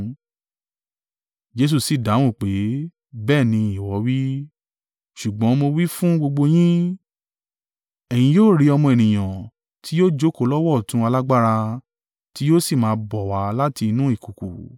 Jesu sì dáhùn pé, “Bẹ́ẹ̀ ni, ìwọ wí.” Ṣùgbọ́n mo wí fún gbogbo yín. “Ẹ̀yin yóò rí Ọmọ Ènìyàn ti yóò jókòó lọ́wọ́ ọ̀tún alágbára, tí yóò sì máa bọ̀ wá láti inú ìkùùkuu.”